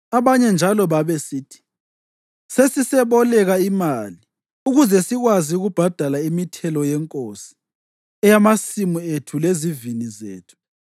Abanye njalo labo babesithi, “Sesiseboleka imali ukuze sikwazi ukubhadala imithelo yenkosi eyamasimu ethu lezivini zethu.